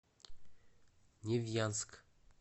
невьянск